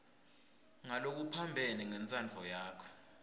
ngalokuphambene nentsandvo yakho